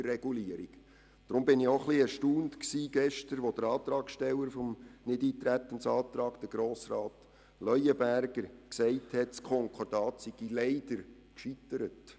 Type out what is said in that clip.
Deshalb war ich gestern erstaunt, als der Antragsteller des Nichteintretensantrags, Grossrat Leuenberger, sagte, das Konkordat sei leider gescheitert.